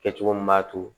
Kɛcogo min b'a to